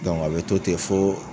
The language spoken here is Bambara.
a bɛ to ten fɔ